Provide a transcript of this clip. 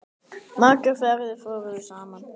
Margar ferðir fórum við saman.